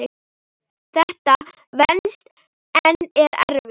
Þetta venst en er erfitt.